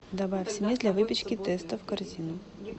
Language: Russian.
добавь смесь для выпечки тестовъ в корзину